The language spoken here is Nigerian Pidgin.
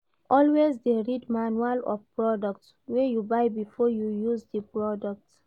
Always de read manual of products wey you buy before you use di product